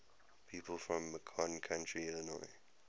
people from macon county illinois